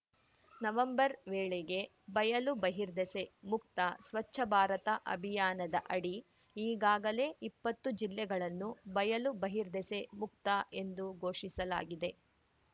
November ವೇಳೆಗೆ ಬಯಲು ಬಹಿರ್ದೆಸೆ ಮುಕ್ತ ಸ್ವಚ್ಛ ಭಾರತ ಅಭಿಯಾನದ ಅಡಿ ಈಗಾಗಲೇ ಇಪ್ಪತ್ತು ಜಿಲ್ಲೆಗಳನ್ನು ಬಯಲು ಬಹಿರ್ದೆಸೆ ಮುಕ್ತ ಎಂದು ಘೋಷಿಸಲಾಗಿದೆ